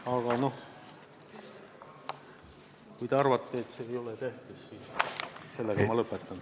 Aga kui te arvate, et see ei ole tähtis, siis ma lõpetan.